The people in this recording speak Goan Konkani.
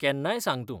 केन्नाय सांग तूं.